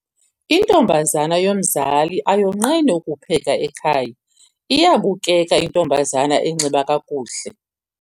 Intombazana yomzali ayonqeni ukupheka ekhaya. iyabukeka intombazana enxiba kakuhle